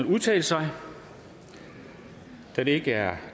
udtale sig da det ikke er